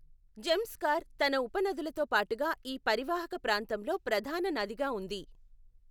జంస్కార్ తన ఉపనదులతో పాటుగా ఈ పరివాహక ప్రాంతంలో ప్రధాన నదిగా ఉంది.